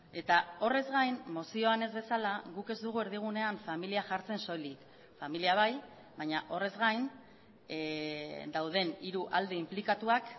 eta horrez gain mozioan ez bezala guk ez dugu erdigunean familia jartzen soilik familia bai baina horrez gain dauden hiru alde inplikatuak